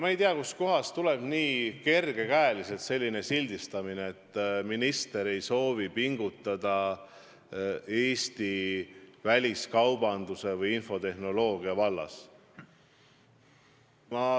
Ma ei tea, kust kohast tuleb nii kerge käega sildistamine, et minister ei soovi pingutada Eesti väliskaubanduse või infotehnoloogia vallas.